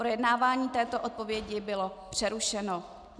Projednávání této odpovědi bylo přerušeno.